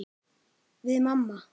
Við mamma.